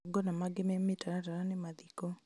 Magongona mangĩ me mĩtaratara nĩ mathiko